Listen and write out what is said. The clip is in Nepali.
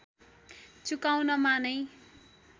चुकाउनमा नै